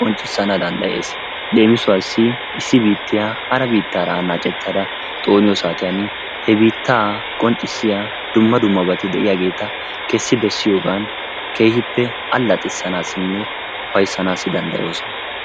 qonccissana danddayees. Leemisuwaassi issi biittiya hara biittaara annaacettada xooniyo saatiyan he biittaa qonccissiya dumma dummabati de'iyageeta kessi bessiyogan keehippe allaxissanaassinne ufayssanaassi danddayoosona.